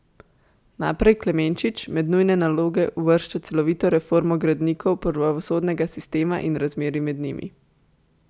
Naprej Klemenčič med nujne naloge uvršča celovito reformo gradnikov pravosodnega sistema in razmerij med njimi.